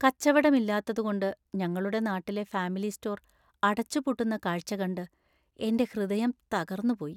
കച്ചവടം ഇല്ലാത്തതുകൊണ്ട് ഞങ്ങളുടെ നാട്ടിലെ ഫാമിലി സ്റ്റോർ അടച്ചുപൂട്ടുന്ന കാഴ്ച്ച കണ്ട് എൻ്റെ ഹൃദയം തകർന്നുപോയി.